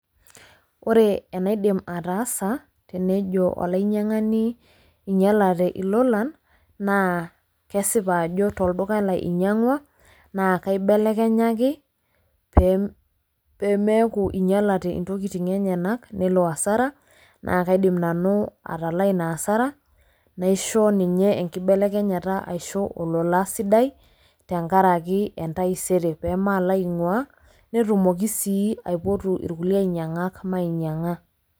Ore enaidim atasa tenjo olainyiang'ani inyialate ilolan naa kesipa ajo tolduka lai inyiang'ua naa kaibelekenyaki pee meeku inyialate intokitin enyenak nelo hasara naa kaidim nanu atalaa ina hasara naisho ninye enkibelekenyata aisho olola sidai tenkaraki entaisere pee malo aing'uaa netumoki sii aipotu irkulie ainyiang'ak mainyiang'a.